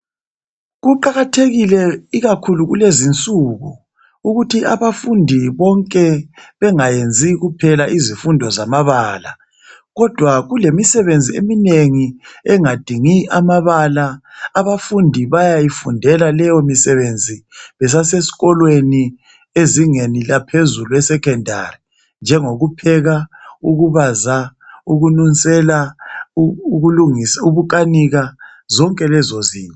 Kuqakathekile ikakhulu kulezinsuku ukuthi abafundi bonke bengayenzi kuphela izifundo zamabala kodwa kulemisebenzi eminengi engadingi amabala abafundi bayayifundela leyi misebenzi besasesikolweni besezingeni eliphezulu esecondary njengo kupheka ukubaza ukunusela ukukanika zonke lezo zinto